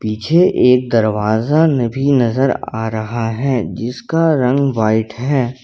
पीछे एक दरवाजा भी नजर आ रहा है जिसका रंग व्हाइट है।